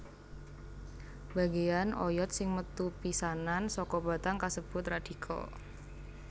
Bagéyan oyod sing metu pisanan saka batang kasebut radikel